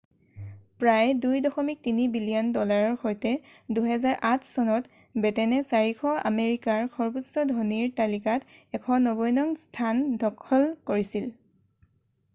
প্ৰায় $2.3 বিলিয়ন ডলাৰৰ সৈতে 2008 চনত বেটেনে 400 আমেৰিকাৰ সৰ্বোচ্চ ধনীৰ তালিকাত 190 নং স্থান দখল কৰিছিল